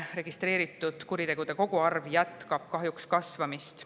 Registreeritud kuritegude koguarv jätkab kasvamist.